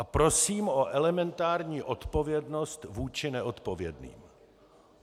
A prosím o elementární odpovědnost vůči neodpovědným.